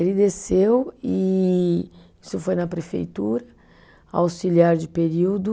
Ele desceu e isso foi na prefeitura, auxiliar de período,